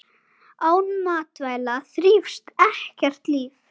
Án matvæla þrífst ekkert líf.